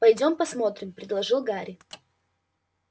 пойдём посмотрим предложил гарри